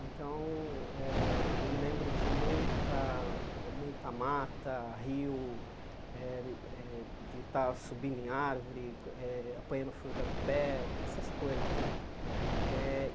Então, eh eu me lembro de muita muita mata, rio, eh eh de estar subindo em árvore, eh apanhando fruta no pé, essas coisas. Eh